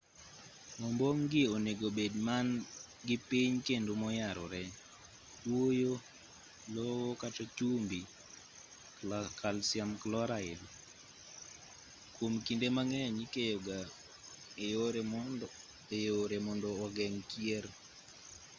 ombong' gi onego bed man gi piny kendo moyarore. kuoyo lowo kata chumbi kalsiam kloraid kwom kinde mang'eny ikeyo ga e yore mondo ogeng' kier